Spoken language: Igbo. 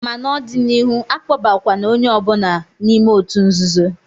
Ma n'ọdịnịhu, akpọbakwa na onye ọ bụla n'ime òtù nzuzo!